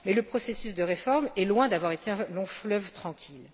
Mais le processus de réforme est loin d'avoir été un long fleuve tranquille.